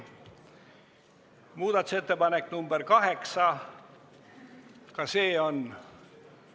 Muudatusettepanek nr 8, ka see on ...